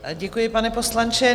Děkuji, pane poslanče.